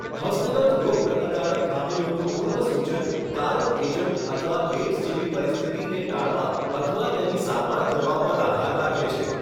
હસ્તગત રોગપ્રતિકારક ખામીઓનું પૂર્વસૂચન કારક એજન્ટ અથવા એઇડ્સ જેવી પરિસ્થિતિને ટાળવા અથવા તેની સારવાર કરવા પર આધાર રાખે છે.